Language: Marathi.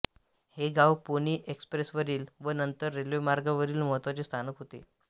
हे गाव पोनी एक्सप्रेसवरील व नंतर रेल्वेमार्गावरील महत्त्वाचे स्थानक होते